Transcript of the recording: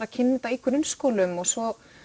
að kynna þetta í grunnskólum og svo